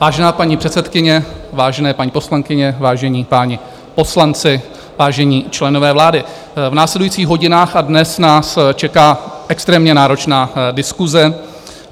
Vážená paní předsedkyně, vážené paní poslankyně, vážení páni poslanci, vážení členové vlády, v následujících hodinách a dnech nás čeká extrémně náročná diskuse.